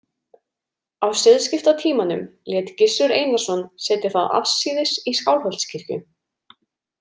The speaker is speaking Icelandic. Á siðskiptatímanum lét Gissur Einarsson setja það afsíðis í Skálholtskirkju.